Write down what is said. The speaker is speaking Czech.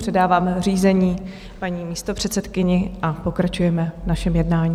Předávám řízení paní místopředsedkyni a pokračujeme v našem jednání.